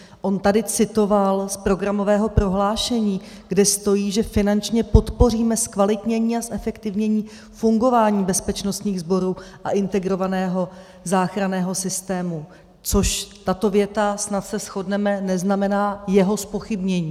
On tady citoval z programového prohlášení, kde stojí, že finančně podpoříme zkvalitnění a zefektivnění fungování bezpečnostních sborů a integrovaného záchranného systému, což tato věta, snad se shodneme, neznamená jeho zpochybnění.